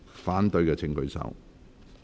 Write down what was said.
反對的請舉手。